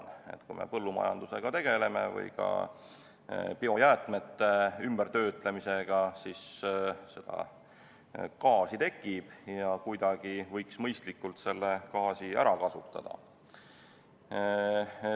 Kui me tegeleme põllumajandusega või biojäätmete töötlemisega, siis seda gaasi tekib ja selle gaasi võiks kuidagi mõistlikult ära kasutada.